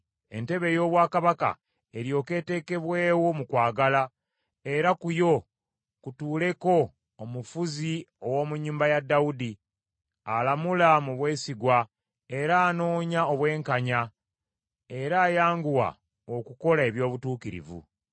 Entebe ey’obwakabaka eryoke etekebwewo mu kwagala, era ku yo kutuuleko omufuzi ow’omu nnyumba ya Dawudi alamula mu bwesigwa era anoonya obwenkanya era ayanguwa okukola eby’obutuukirivu.